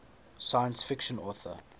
science fiction author